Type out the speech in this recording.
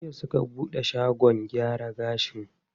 Jiya suka buɗe shagon gyara gashin?